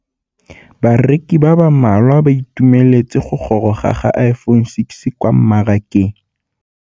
Bareki ba ba malwa ba ituemeletse go gôrôga ga Iphone6 kwa mmarakeng.